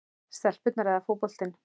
stelpurnar eða fótboltinn?